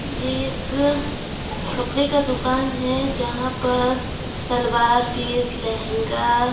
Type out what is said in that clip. ये एक कपड़े का दुकान है जहां पर सलवार पीस लेहंगा।